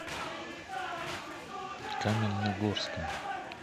каменногорском